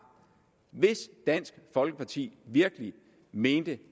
hvis dansk folkeparti virkelig mente